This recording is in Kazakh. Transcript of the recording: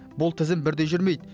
бұл тізім бірдей жүрмейді